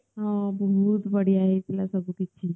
ହଁ ବହୁତ ବଢ଼ିଆ ହେଇଥିଲା ସବୁ କିଛି